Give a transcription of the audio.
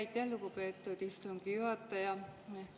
Aitäh, lugupeetud istungi juhataja!